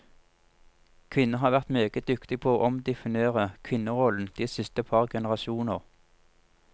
Kvinner har vært meget dyktige på å omdefinere kvinnerollen de siste par generasjoner.